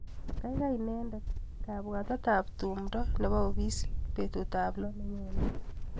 Kaikai indene kabwatetap tumdo nebo opisit betutap loo nenyone.